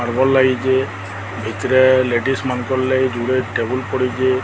Marble ଲାଗିଚି ଏଥିରେ ladies ମାନଙ୍କର ଲାଗି ଜୁଡେ ଟେବୁଲ ପଡିଚି।